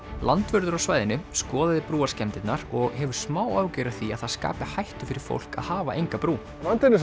landvörður á svæðinu skoðaði og hefur smá áhyggjur af því að það skapi hættu fyrir fólk að hafa enga brú vandinn er